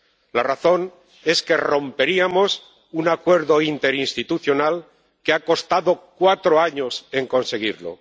La razón es que romperíamos un acuerdo interinstitucional que ha costado cuatro años en conseguirlo.